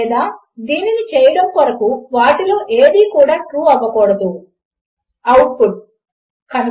కనుక ఇప్పుడు దీనిని పరీక్షించి చూడడము కొరకు నేను మరికొన్ని వేరియబుల్ లను దీనికి యాడ్ చేయాలి అని ఆలోచిస్తున్నాను